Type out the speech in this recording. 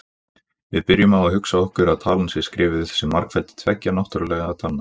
Við byrjum á að hugsa okkur að talan sé skrifuð sem margfeldi tveggja náttúrlegra talna: